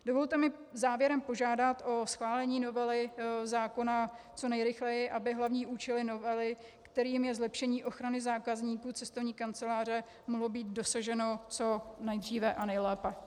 Dovolte mi závěrem požádat o schválení novely zákona co nejrychleji, aby hlavního účelu novely, kterým je zlepšení ochrany zákazníků cestovní kanceláře, mohlo být dosaženo co nejdříve a nejlépe.